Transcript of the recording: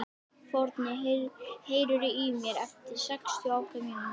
Forni, heyrðu í mér eftir sextíu og átta mínútur.